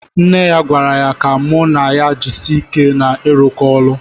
Nne ya gwara ya ka mụ na ya jisie ike na irụkọ ọlụ